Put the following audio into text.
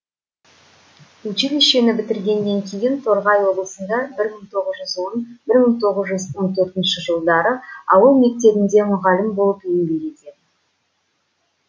училищені бітіргеннен кейін торғай облысында бір мың тоғыз жүз он бір мың тоғыз жүз он төртінші жылдары ауыл мектебінде мұғалім болып еңбек етеді